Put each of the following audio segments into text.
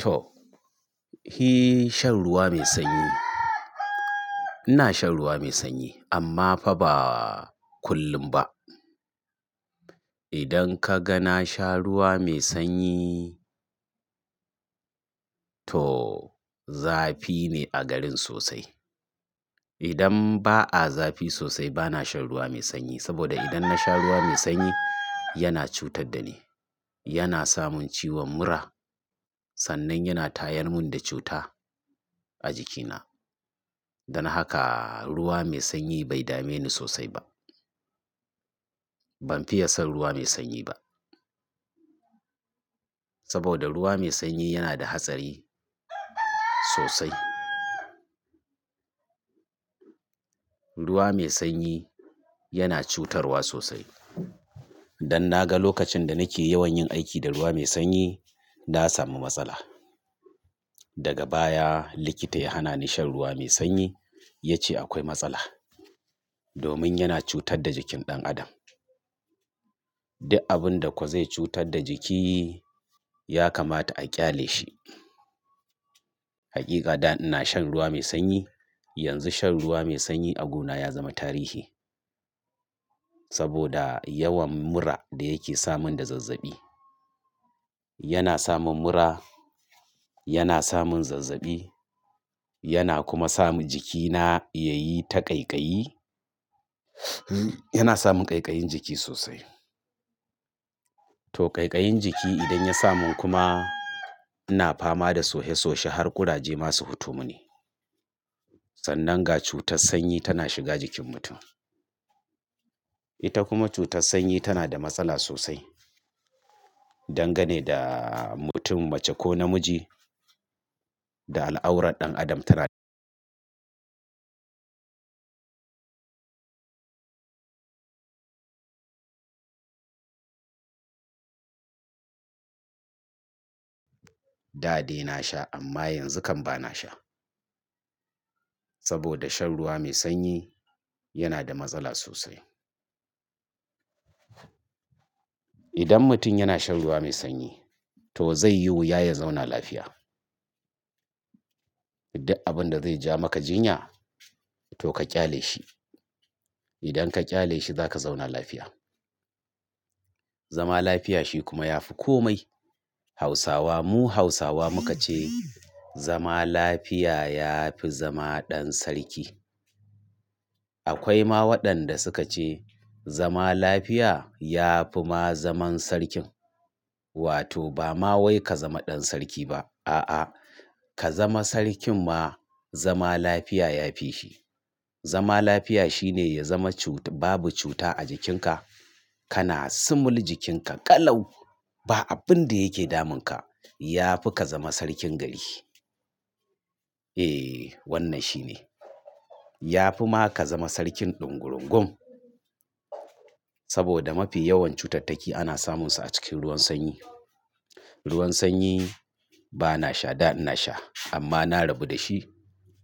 To, shi shan ruwa mai sanyi ina shan ruwa mai sanyi amma fa ba kullum ba. Idan ka ga na sha ruwa mai sanyi to zafi ne a garin sosai. Idan ba a zafi sosai bana shan ruwa mai sanyi saboda idan na sha ruwa mai sanyi yana cutar da ni. Yana samin ciwon mura sannan yana tayar mun da cuta a jikina. Dan haka ruwa mai sanyi bai dame ni sosai ba. Ban fiye son ruwa mai sanyi ba. Saboda ruwa mai sanyi yana da hatsari sosai. Ruwa mai sanyi yana cutarwa sosai. Dan na ga lokacin da nake yawan yin aiki da ruwa mai sanyi na sami matsala. Daga baya likita ya hana ni shan ruwa mai sanyi ya ce akwai matsala domin yana cutar da jikin ɗan adam. Duk abun da kuwa zai cutar da jiki ya kamata a ƙyale shi. Hakika da ina shan ruwa mai sanyi yanzu shan ruwa mai sanyi a guna ya zama tarihi. Saboda yawan mura da yake samun da zazzabi. Yana samun mura, yana samun zazzabi yana kuma samun jikina ya yi ta ƙaiƙayi yana samun ƙaiƙayin jiki sosai. To ƙaiƙayin jiki idan ya samu kuma ina fama da soye soye har ƙuraje masu hutumo ne. Sannan ga cutar sanyi tana shiga jikin mutum. Ita kuma cutar sanyi tana da matsala sosai. Dan ga ne da mutum mace ko namiji da al'aurar ɗan adam ta rage. Da de na sha amma yanzu kam bana sha. Saboda shan ruwa mai sanyi yana da matsala sosai. Idan mutum yana shan ruwa mai sanyi to zai yi wuya ya zauna lafiya. Duk abun da zai ja maka jinya to ka ƙyale shi. Idan ka ƙyale shi za ka zauna lafiya. Zama lafiya shi kuma ya fi komai. Hausawa mu Hausawa muka ce zama lafiya ya fi zama ɗan sarki. Akwai ma waɗanda suka ce zama lafiya ya fi ma zaman sarkin wato ba ma wai ka zama ɗan sarki ba a'a ka zama sarkin ma zama lafiya ya fi shi. Zama lafiya shine ya zama cut-- babu cuta a jikinka kana sumul jikinka ƙalau ba abin da yake damunka ya fi ka zama sarkin gari. Eh wannan shi ne. Ya fi ma ka zama sarkin ɗungulungun. Saboda mafi yawan cutattaki ana samun su a cikin ruwan sanyi. Ruwan sanyi bana sha da ina sha amma na rabu da shi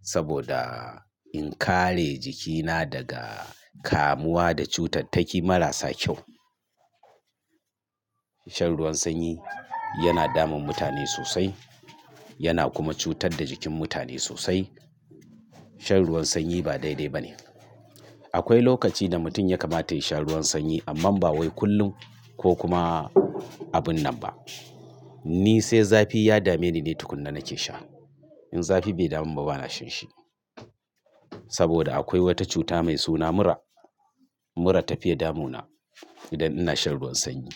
saboda in kare jikina daga kamuwa da cutattaki marasa kyau. Shan ruwan sanyi yana damun mutane sosai yana kuma cutar da jikin mutane sosai. Shan ruwan sanyi ba daidai ba ne. Akwai lokaci da mutum ya kamata ya sha ruwan sanyi amma ba wai kullum ko kuma abun nan ba. Ni sai zafi ya dame ni ne tukuna nake sha. In zafi bai damu ba bana shinshi. Saboda akwai wata cuta mai suna mura. Mura ta fiye damu na idan ina shan ruwan sanyi.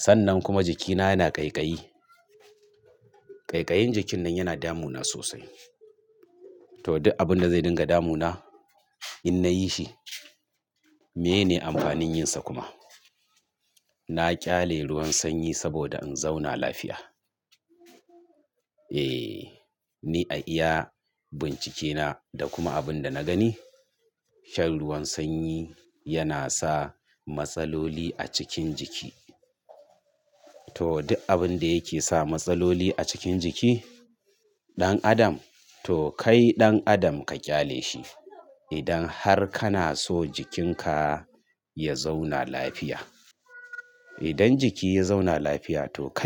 Sannan kuma jikina yana ƙaiƙayi. Ƙaiƙayin jikin nan yana damu na sosai. To duk abun da zai dinga damu na in nayi shi menene amfanin yin sa kuma? Na ƙyale ruwan sanyi saboda in zauna lafiya. Eh ni a iya bincike na da kuma abin da na gani shan ruwan sanyi yana sa matsaloli a cikin jiki. To duk abun da yake sa matsaloli a cikin jiki ɗan adam to kai ɗan adam ka ƙyale shi. Idan har kana so jikin ka ya zauna lafiya. Idan jiki ya zauna lafiya to kai.